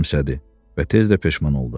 Gülümsədi və tez də peşman oldu.